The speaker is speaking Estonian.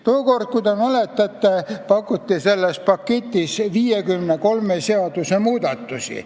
Tookord, kui te mäletate, pakuti selles paketis 53 seaduse muutmist.